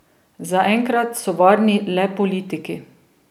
Zaenkrat so varni le politiki.